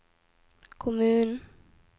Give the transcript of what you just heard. kommunen